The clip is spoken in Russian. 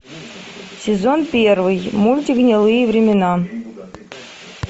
сезон первый мультик гнилые времена